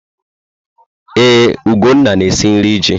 Ee, Ugonna na-esi nri ji.